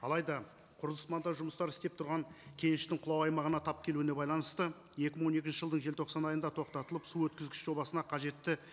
алайда құрылыс монтаж жұмыстары істеп тұрған кеңіс ішінің құлау аймағына тап келуіне байланысты екі мың он екінші жылдың желтоқсан айыда тоқтатылып су өткізгіш жобасына қажетті